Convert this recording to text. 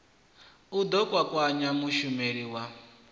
u ḓo kwakwanya mushumeli wa